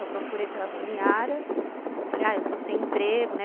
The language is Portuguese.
Eu procurei pela dona Yara, falei, ah, eu estou sem emprego, né?